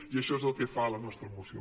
i això és el que fa la nostra moció